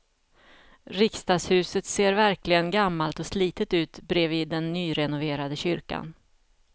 Riksdagshuset ser verkligen gammalt och slitet ut bredvid den nyrenoverade kyrkan.